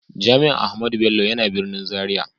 Jami'an Ahmadu Bello yana birnin Zaria.